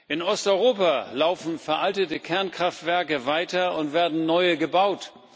In Osteuropa laufen veraltete Kernkraftwerke weiter und werden neue gebaut.